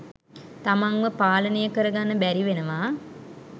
තමන්ව පාලනය කරගන්න බැරිවෙනවා.